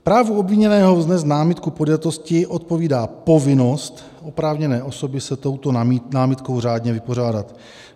Právu obviněného vznést námitku podjatosti odpovídá povinnost oprávněné osoby se touto námitkou řádně vypořádat.